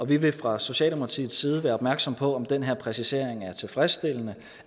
vi vil fra socialdemokratiets side være opmærksom på om den her præcisering er tilfredsstillende